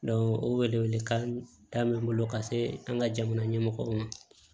o welewele kan bɛ n bolo ka se an ka jamana ɲɛmɔgɔw ma